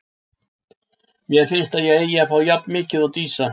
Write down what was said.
Mér finnst að ég eigi að fá jafn mikið og Dísa.